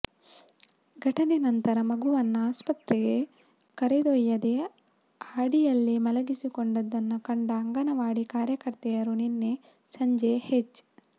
ಘಟನೆ ನಂತರ ಮಗುವನ್ನ ಆಸ್ಪತ್ರೆಗೆ ಕರೆದೊಯ್ಯದೇ ಹಾಡಿಯಲ್ಲೇ ಮಲಗಿಸಿಕೊಂಡಿದ್ದನ್ನು ಕಂಡ ಅಂಗನವಾಡಿ ಕಾರ್ಯಕರ್ತೆಯರು ನಿನ್ನೆ ಸಂಜೆ ಹೆಚ್